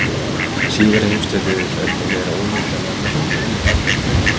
Síðari heimsstyrjöldin var óneitanlega merkilegur atburður.